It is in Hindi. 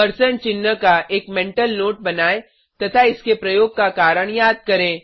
परसेंट चिन्ह का एक मेंटल नोट बनायें तथा इसके प्रयोग का कारण याद करें